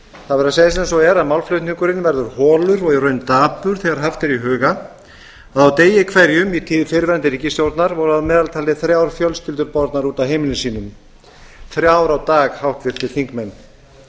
það verður að segjast eins og er að málflutningurinn verður holur og í raun dapur þegar haft er í huga að á degi hverjum í tíð fyrrverandi ríkisstjórnar voru að meðaltali þrjár fjölskyldur bornar út af heimilum sínum þrjár á dag háttvirtir þingmenn